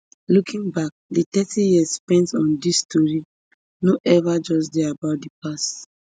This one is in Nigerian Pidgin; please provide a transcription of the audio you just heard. looking back di thirty years spent on dis tori no ever just dey about di past